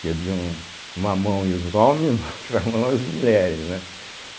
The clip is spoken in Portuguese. que é de um, uma mão ia os homens e na outra mão era as mulheres, né.